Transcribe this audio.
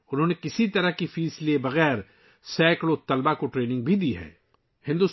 وہ سینکڑوں طلباء کو بغیر فیس کے ٹریننگ بھی دے چکے ہیں